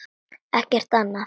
Ekkert annað?